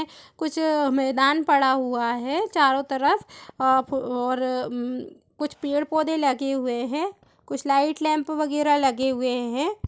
कुछ मैदान पड़ा हुआ है चारो तरफ अ-- फ-- और म-- कुछ पेड़-पौधे लगे हुए हैं कुछ लाईट लैम्प वगेरा लगे हुए हैं।